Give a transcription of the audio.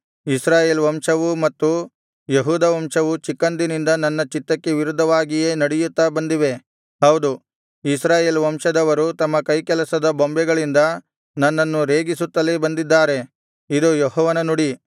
ಇಸ್ರಾಯೇಲ್ ವಂಶವೂ ಮತ್ತು ಯೆಹೂದ ವಂಶವೂ ಚಿಕ್ಕಂದಿನಿಂದ ನನ್ನ ಚಿತ್ತಕ್ಕೆ ವಿರುದ್ಧವಾಗಿಯೇ ನಡೆಯುತ್ತಾ ಬಂದಿವೆ ಹೌದು ಇಸ್ರಾಯೇಲ್ ವಂಶದವರು ತಮ್ಮ ಕೈಕೆಲಸದ ಬೊಂಬೆಗಳಿಂದ ನನ್ನನ್ನು ರೇಗಿಸುತ್ತಲೇ ಬಂದಿದ್ದಾರೆ ಇದು ಯೆಹೋವನ ನುಡಿ